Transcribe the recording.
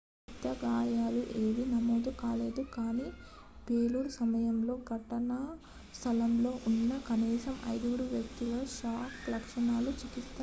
పెద్ద గాయాలు ఏవీ నమోదు కాలేదు కానీ పేలుడు సమయంలో ఘటనా స్థలంలో ఉన్న కనీసం ఐదుగురు వ్యక్తులకు షాక్ లక్షణాలకు చికిత్స అందించారు